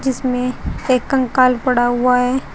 जिसमें एक कंकाल पड़ा हुआ है।